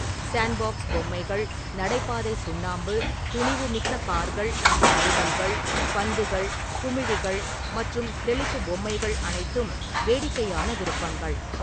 Sandbox பொம்மைகள், நடைபாதை சுண்ணாம்பு, துணிவுமிக்க கார்கள் மற்றும் வேகன்கள், பந்துகள், குமிழிகள் மற்றும் தெளிப்பு பொம்மைகள் அனைத்தும் வேடிக்கையான விருப்பங்கள்.